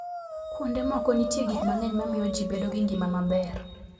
Kuonde moko, nitie gik mang'eny mamiyo ji bedo gi ngima maber.